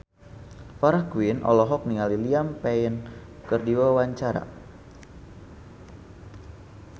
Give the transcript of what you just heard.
Farah Quinn olohok ningali Liam Payne keur diwawancara